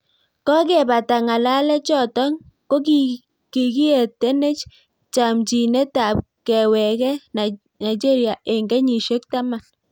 Kokepataa ngalechotok ko kikietenech chamchineet ap kewekee Naigeria eng keshisiek taman